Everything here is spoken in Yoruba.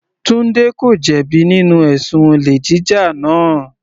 Tunde ko jẹ bi nínú ẹ̀sùn olè jíjà náà.